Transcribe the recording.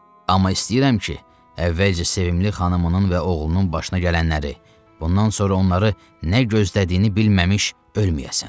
Amma istəyirəm ki, əvvəlcə sevimli xanımının və oğlunun başına gələnləri, bundan sonra onları nə gözlədiyini bilməmş ölməyəsən.